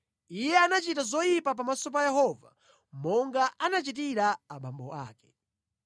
Iye anachita zoyipa pamaso pa Yehova monga anachitira abambo ake.